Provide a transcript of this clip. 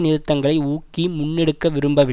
நிறுத்தங்களை ஊக்கி முன்னெடுக்க விரும்பவி